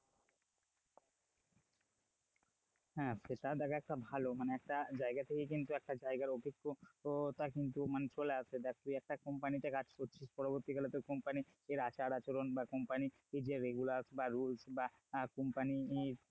হ্যাঁ সেটা দেখ একটা ভালো মানে একটা জায়গা থেকে কিন্তু একটা জায়গার অভিজ্ঞতা কিন্তু মানে চলে আসে দেখ তুই একটা company তে কাজ করছিস, পরবর্তীকালে তোর এই company র আচার-আচরণ বা company র যে regulars বা rules বা company র,